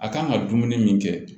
A kan ka dumuni min kɛ